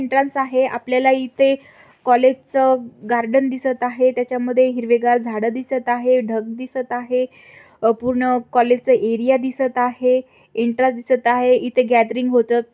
आहे.आपल्याला इथे कॉलेज च गार्डन दिसत आहे. त्याच्यामध्ये हिरवेगार झाड दिसत आहे. ढग दिसत आहे. पूर्ण कॉलेज च एरिया दिसत आहे एन्ट्र्या दिसत आहे इथ गॅदरिंग होत.